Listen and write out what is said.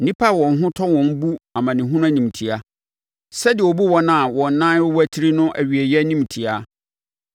Nnipa a wɔn ho tɔ wɔn bu amanehunu animtiaa sɛdeɛ wɔbu wɔn a wɔn nan rewatiri no awieeɛ animtiaa.